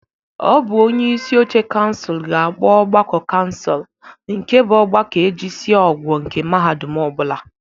Ọ bụ onyeisi oche kansụl ga-akpọ ọgbakọ kansụl nke bụ ọgbakọ e jisia ọgwọ nke mahadum ọ bụla.